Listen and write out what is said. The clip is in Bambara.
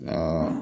Nka